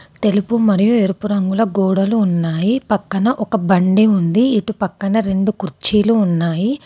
తెలుపు మరియు ఎరుపు రంగుల గోడలు ఉన్నాయి. పక్కన ఒక బండి ఉంది. ఇటు పక్కన రెండు కుర్చీలు ఉన్నాయి.